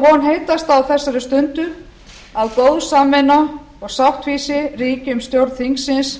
von heitasta á þessari stundu að góð samvinna og sáttfýsi ríki um stjórn þingsins